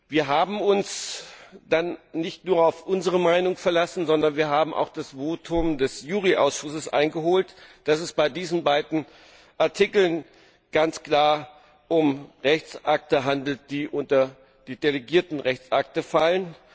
Wir haben uns dann nicht nur auf unsere Meinung verlassen, sondern wir haben auch die Stellungnahme des Rechtsausschusses eingeholt, wonach es sich bei diesen beiden Artikeln ganz klar um Rechtsakte handelt, die unter die delegierten Rechtsakte fallen.